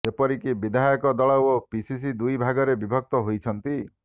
ଏପରିକି ବିଧାୟକ ଦଳ ଓ ପିସିସି ଦୁଇ ଭାଗରେ ବିଭକ୍ତ ହୋଇଛନ୍ତି